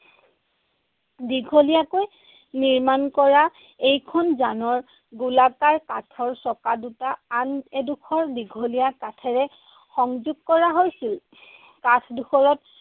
দীঘলীয়াকৈ নিৰ্মাণ কৰা এইখন যানৰ গোলাকাৰ কাঠৰ চকা দুটা আন এডোখৰ দীঘলীয়া কাঠেৰে সংযোগ কৰা হৈছিল। কাঠডোখৰত